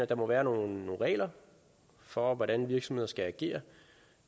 der må være nogle regler for hvordan virksomheder skal agere